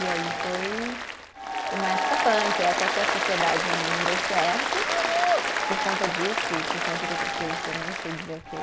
E aí foi uma época punk, até que a sociedade não deu certo por conta disso e por conta de outras coisas que eu nem sei dizer o quê.